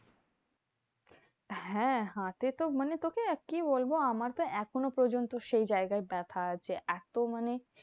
হ্যাঁ হাতে তো মানে তোকে কি বলবো? আমার তো এখনো পর্যন্ত সেই জায়গাটায় ব্যাথা আছে। এত মানে